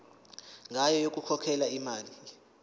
ngayo yokukhokhela imali